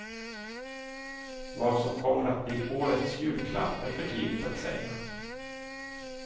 Vad som kommer att bli årets julklapp är för tidigt att säga.